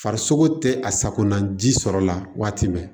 Farisogo tɛ a sakonaji sɔrɔ la waati bɛɛ